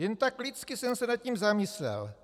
Jen tak lidsky jsem se nad tím zamyslel.